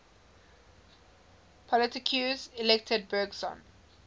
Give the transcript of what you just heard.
politiques elected bergson